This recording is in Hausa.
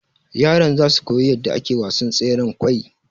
yaran zasu koyi yadda ake wasan tseren kwai